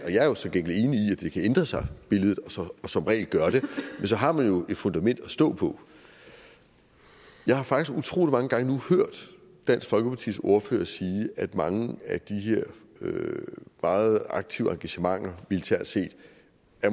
ændre sig og som regel gør det men så har man jo et fundament at stå på jeg har faktisk utrolig mange gange nu hørt dansk folkepartis ordfører sige at mange af de her meget aktive engagementer militært set